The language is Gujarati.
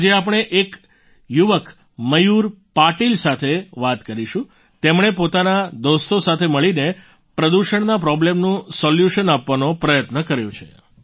આજે આપણે એક યુવક મયૂર પાટિલ સાથે વાત કરીશું તેમણે પોતાના દોસ્તો સાથે મળીને પ્રદૂષણના પ્રોબ્લેમનું સોલ્યુશન આપવાનો પ્રયત્ન કર્યો છે